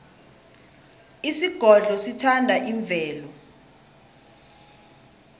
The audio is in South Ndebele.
isigodlo sithanda imvelo